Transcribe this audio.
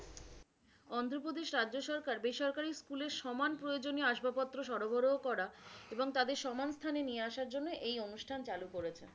অন্ধ্রপ্রদেশ রাজ্য সরকার বেসরকারি স্কুলের সমান প্রয়োজনীয় আসবাবপত্র সরবরাহ করা এবং তাদের সমান স্থানে নিয়ে আসার জন্য এই অনুষ্ঠান চালু করেছে।